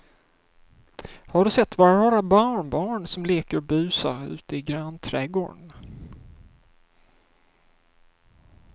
Har du sett våra rara barnbarn som leker och busar ute i grannträdgården!